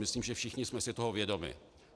Myslím, že všichni jsme si toho vědomi.